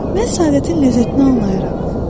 Mən səadətin ləzzətini anlayaram.